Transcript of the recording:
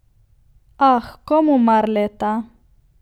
Ah, komu mar leta!